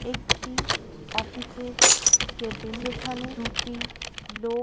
একটি অফিস -এর কেবিন যেখানে দুটি লোক--